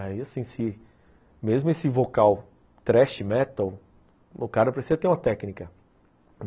Aí assim, se, mesmo esse vocal thrash metal, o cara precisa ter uma técnica.